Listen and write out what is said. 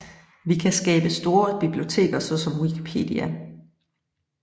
Vi kan skabe store biblioteker såsom Wikipedia